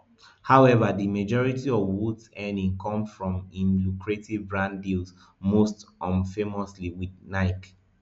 however di majority of woods earnings come from im lucrative brand deals most um famously wit nike